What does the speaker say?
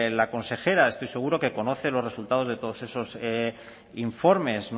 la consejera estoy seguro de que conoce los resultados de todos esos informes